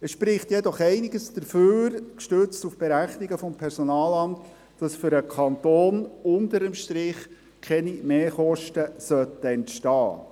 Es spricht jedoch einiges dafür, gestützt auf Berechnungen des Personalamts, dass für den Kanton unter dem Strich keine Mehrkosten entstehen sollten.